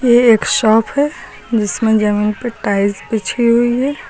ये एक शॉप है जिसमें जमीन पे टाइल्स बिछी हुई है।